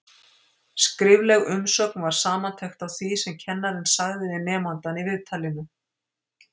Skrifleg umsögn var samantekt á því sem kennarinn sagði við nemandann í viðtalinu.